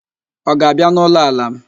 Ọ ga-abịa n'ụlọ ala m?